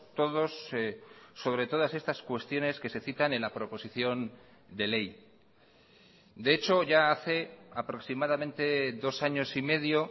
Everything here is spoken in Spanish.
todos sobre todas estas cuestiones que se citan en la proposición de ley de hecho ya hace aproximadamente dos años y medio